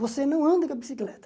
Você não anda com a bicicleta.